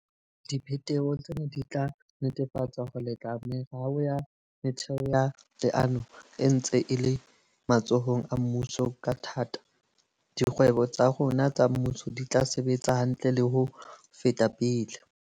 Dipheteho tsena di tla netefatsa hore le tla meralo ya metheo ya leano e ntse e le matsohong a mmuso ka thata, dikgwebo tsa rona tsa mmuso di tla sebetsa hantle le ho feta pele.